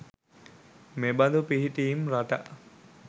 මෙබඳු පිහිටීම් රටා